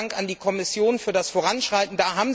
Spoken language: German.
Vielen Dank an die Kommission für das Voranschreiten.